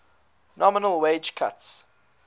nominal wage cuts